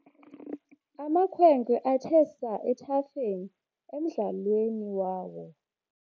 Amakhwenkwe athe saa ethafeni emdlalweni wawo.